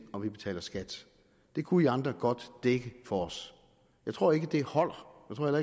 om vi betaler skat det kunne i andre godt dække for os jeg tror ikke det holder